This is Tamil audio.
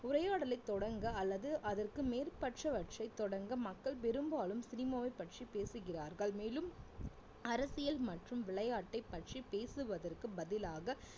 உரையாடலை தொடங்க அல்லது அதற்கு மேற்பட்டவற்றை தொடங்க மக்கள் பெரும்பாலும் சினிமாவைப் பற்றி பேசுகிறார்கள் மேலும் அரசியல் மற்றும் விளையாட்டை பற்றி பேசுவதற்கு பதிலாக